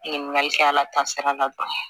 Ɲininkali kɛ ala ta sira la